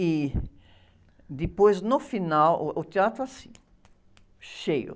E depois, no final, uh, o teatro assim, cheio.